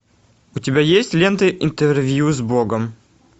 у тебя есть лента интервью с богом